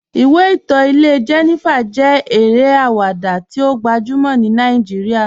Ìwé ìtọ́ ilẹ̀ Jènífà jẹ́ èrè awada tí ó gbajúmọ̀ ní Nàìjíríà